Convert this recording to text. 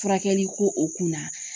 Furakɛli ko o kunna.